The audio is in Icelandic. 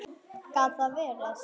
Gat það verið.?